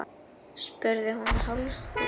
spurði hún hálfskelkuð.